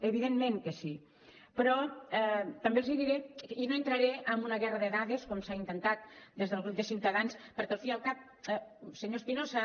evidentment que sí però també els diré i no entraré en una guerra de dades com s’ha intentat des del grup de ciutadans perquè al cap i a la fi és que senyor espinosa